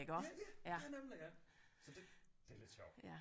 Ja ja ja nemlig ja så det det er lidt sjovt